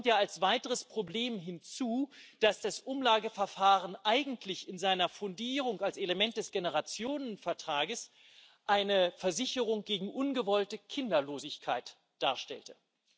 Es kommt ja als weiteres Problem hinzu, dass das Umlageverfahren eigentlich in seiner Fundierung als Element des Generationenvertrags eine Versicherung gegen ungewollte Kinderlosigkeit darstellte.